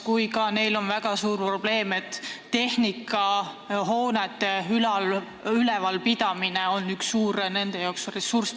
Neil on veel üks väga suur probleem: tehnika ja hoonete ülalpidamine on kallis.